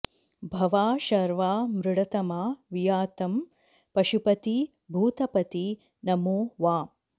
भवा शर्वा मृडतमा वियातं पशुपती भूतपती नमो वाम्